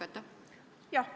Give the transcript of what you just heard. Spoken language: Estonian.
Suur tänu küsimuse eest!